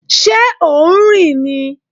Ṣé ò ń rìn ni?